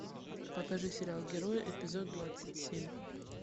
покажи сериал герои эпизод двадцать семь